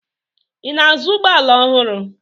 Ị na-azụ ụgbọala ọhụrụ?